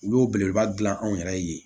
Olu y'o belebeleba dilan anw yɛrɛ ye